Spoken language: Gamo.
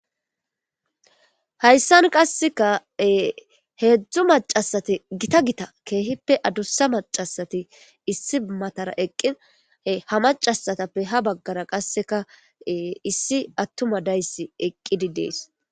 hayssan qasseka heedzdzu macasati gita gita keehippe adussa macasati issi matara eqqi ha macasatappe ha baggara qasseka issi attuma dayssi eqqidi dees